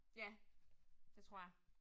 Ja. Det tror jeg